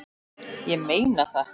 Ég meina það!